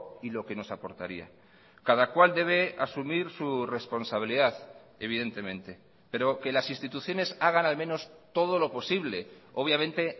y lo que nos aportaría cada cual debe asumir su responsabilidad evidentemente pero que las instituciones hagan al menos todo lo posible obviamente